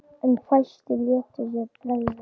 En fæstir létu sér bregða.